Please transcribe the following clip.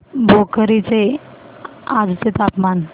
भोकर चे आजचे तापमान